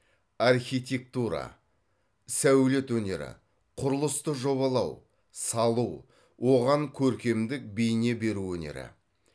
архитектура сәулет өнері құрылысты жобалау салу оған көркемдік бейне беру өнері